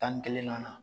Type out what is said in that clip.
Tan ni kelen na